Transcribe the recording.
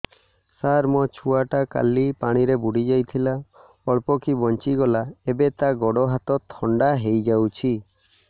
ସାର ମୋ ଛୁଆ ଟା କାଲି ପାଣି ରେ ବୁଡି ଯାଇଥିଲା ଅଳ୍ପ କି ବଞ୍ଚି ଗଲା ଏବେ ତା ଗୋଡ଼ ହାତ ଥଣ୍ଡା ହେଇଯାଉଛି